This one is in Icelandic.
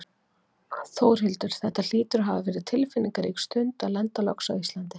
Þórhildur, þetta hlýtur að hafa verið tilfinningarík stund að lenda loks á Íslandi?